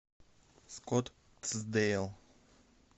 скоттсдейл